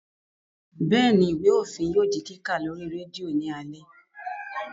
Bẹ́ẹ̀ni, Ìwé òfin yóò di kíkà lórí rédíò ní alé